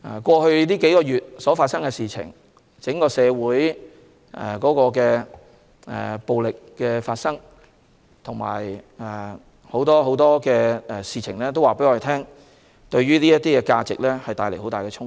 過去數月發生的事情，整個社會出現的暴力行為和很多其他事情，均對這些價值帶來很大衝擊。